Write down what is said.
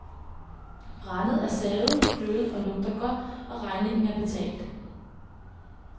Brændet er savet, kløvet og lugter godt, og regningen er betalt.